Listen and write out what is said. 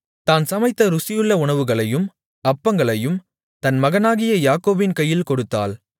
தான் சமைத்த ருசியுள்ள உணவுகளையும் அப்பங்களையும் தன் மகனாகிய யாக்கோபின் கையில் கொடுத்தாள்